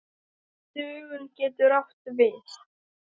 Dögun getur átt við